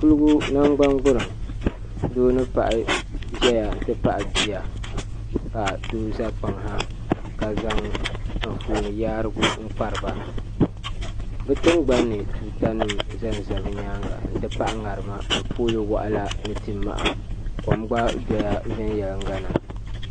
Kuligu nangbangburiŋ doo ni paɣa ʒɛya n ti pahi bia ka doo za kpaŋ ha ka zaŋ anfooni yaarigu n kpariba bi tingbanni tuutanima zanza bi nyaanga n ti pahi ŋarima ni pooli waɣala ni ti' maha kom gba dɔya viɛnyela na